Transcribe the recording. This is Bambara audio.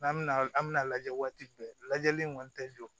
N'an bɛna an mina lajɛ waati bɛɛ lajɛlen kɔni tɛ jɔ